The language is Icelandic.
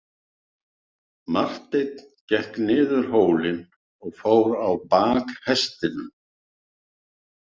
Marteinn gekk niður hólinn og fór á bak hestinum.